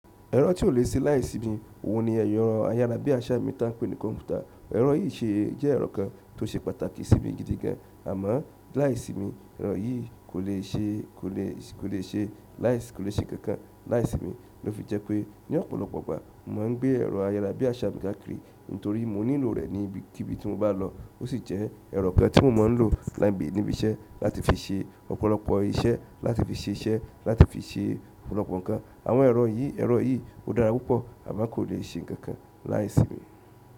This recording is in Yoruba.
Ẹ̀rọ tí o lè ṣe láìsími, òun ni ẹrọ ayára bí àṣá mi ta ń pé ní kọ̀npútà. Ẹ̀rọ yìí ṣe jẹ́ ẹ̀rọ kan tó ṣe pàtàkì sí mi gidi gan, àmọ́ láìsí mi ẹ̀rọ yìí kò lè ṣe, kò lè ṣe, kò lè ṣe kankan láìsí mi lofi jẹ pe ni ọ̀pọ̀lọpọ̀ ìgbà, mo maa n gbe ẹrọ ayarabiaṣa mi káàkiri nítorí mo nílò re níbikíbi ti mo ba lọ. Ó sì jẹ́ ẹ̀rọ kan tí mo máa ń lò láìmébi níbi iṣẹ́ láti fi ṣe ọ̀pọ̀lọpọ̀ iṣẹ́, láti fi ṣe iṣẹ́, láti fi ṣe ọ̀pọ̀lọpọ̀ nǹkan. Àwọn ẹ̀rọ yìí, ẹ̀rọ yìí ó dára púpọ̀ àmọ́ kò lè ṣe nǹkan láìsí mi.